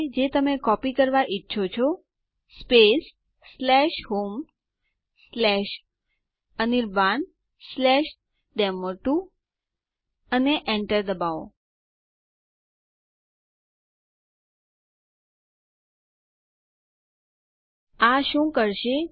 તેથી આપણે પાસવર્ડ કાળજીપૂર્વક લખવું પડશે